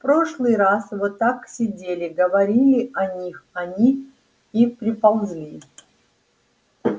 в прошлый раз вот так сидели говорили о них они и приползли